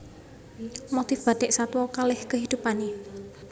Motif Bathik Satwa kaleh kehidupanne